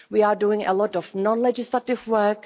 We are doing a lot of non-legislative work.